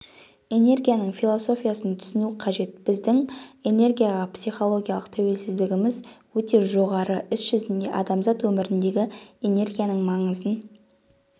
энергияның философиясын түсіну қажет біздің энергияға психологиялық тәуелділігіміз өте жоғары іс жүзінде адамзат өміріндегі энергияның маңызын